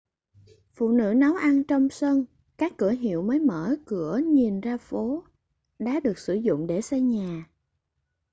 phụ nữ nấu ăn trong sân các cửa hiệu mới mở cửa nhìn ra phố đá được sử dụng để xây nhà